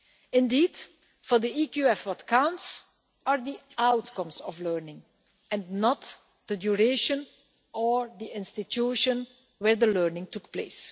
Indeed for the EQF what counts are the outcomes of learning, and not the duration or the institution where the learning took place.